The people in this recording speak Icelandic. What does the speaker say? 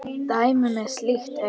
Dæmi um slíkt er